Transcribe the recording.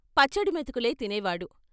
పచ్చడి మెతుకులే తినేవాడు.